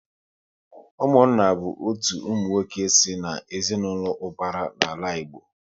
Ụmụnna bụ otu ụmụnwoke si na ezinaụlọ ubara n'ala Igbo